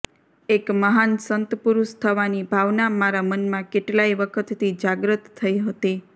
એક મહાન સંતપુરુષ થવાની ભાવના મારા મનમાં કેટલાય વખતથી જાગ્રત થઇ હતી